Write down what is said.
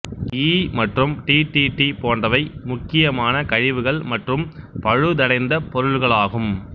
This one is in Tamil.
ஈ மற்றும் டி டி டி போன்றவை முக்கியமான கழிவுகள் மற்றும் பழுதடைந்தப் பொருட்களாகும்